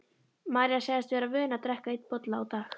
María sagðist vera vön að drekka einn bolla á dag.